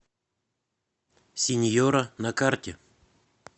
синьора на карте